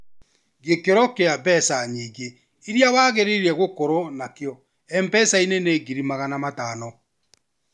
Gĩkĩro kĩa mbeca nyingĩ iria wagĩrĩirwo gũkorwo nakĩo MPESA nĩ ngiri magana matano